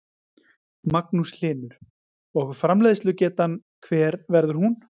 Magnús Hlynur: Og framleiðslugetan hver verður hún?